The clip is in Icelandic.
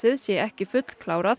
sé ekki fullklárað